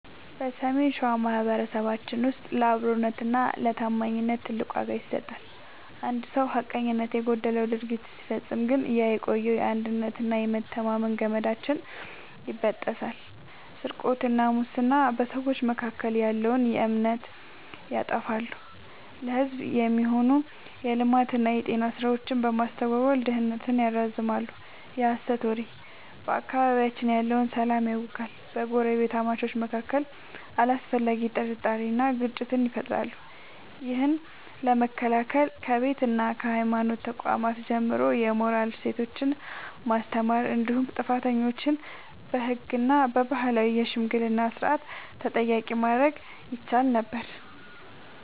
በሰሜን ሸዋ ማኅበረሰባችን ውስጥ ለአብሮነትና ለታማኝነት ትልቅ ዋጋ ይሰጣል። አንድ ሰው ሐቀኝነት የጎደለው ድርጊት ሲፈጽም ግን ያ የቆየው የአንድነትና የመተማመን ገመዳችን ይበጠሳል። ስርቆትና ሙስና፦ በሰዎች መካከል ያለውን እምነት ያጠፋሉ፤ ለሕዝብ የሚሆኑ የልማትና የጤና ሥራዎችን በማስተጓጎል ድህነትን ያራዝማሉ። የሐሰት ወሬ፦ በአካባቢያችን ያለውን ሰላም ያውካል፤ በጎረቤታማቾች መካከል አላስፈላጊ ጥርጣሬንና ግጭትን ይፈጥራል። ይህን ለመከላከል ከቤትና ከሃይማኖት ተቋማት ጀምሮ የሞራል እሴቶችን ማስተማር እንዲሁም ጥፋተኞችን በሕግና በባህላዊ የሽምግልና ሥርዓት ተጠያቂ ማድረግ ይቻል ነበር።